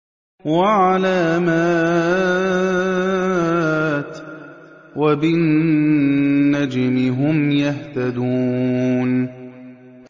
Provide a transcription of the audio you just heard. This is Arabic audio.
وَعَلَامَاتٍ ۚ وَبِالنَّجْمِ هُمْ يَهْتَدُونَ